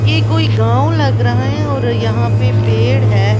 यह कोई गांव लग रहा है और यहाँ पे पेड़ हैं।